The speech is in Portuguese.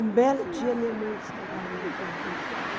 Um belo dia, minha mãe disse que a galinha tinha fugido.